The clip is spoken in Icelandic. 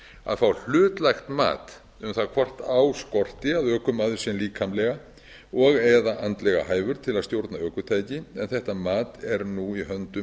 að fá hlutlægt mat um það hvort á skorti að ökumaður sé líkamlega og eða andlega hæfur til að stjórna ökutæki en þetta mat er nú í höndum